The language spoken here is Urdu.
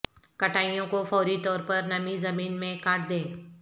کٹائیوں کو فوری طور پر نمی زمین میں کاٹ دیں